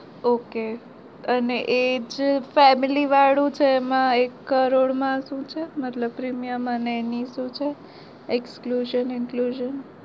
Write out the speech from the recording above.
Okay અને એ જ family વાળું છે એમાં એક કરોડ માં શું છે મતલબ premium અને એ શું છે include?